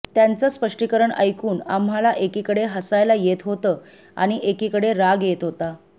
त्याचं स्पष्टीकरण ऐकून आम्हाला एकीकडे हसायला येत होतं आणि एकीकडे राग येत होता